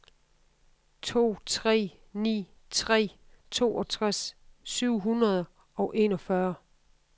to tre ni tre toogtres syv hundrede og enogfyrre